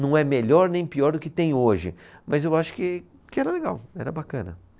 Não é melhor nem pior do que tem hoje, mas eu acho que, que era legal, era bacana.